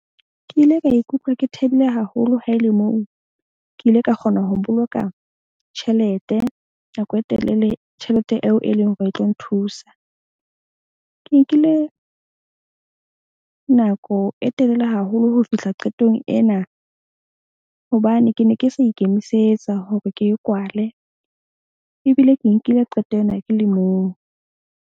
Ke ile ka ikutlwa ke thabile haholo ha e le moo ke ile ka kgona ho boloka tjhelete nako e telele. Tjhelete eo e leng hore e tlo nthusa. Ke nkile nako e telele haholo ho fihla qetong ena. Hobane ke ne ke sa ikemisetsa hore ke e kwale. Ebile ke nkile qeto ena ke le mong.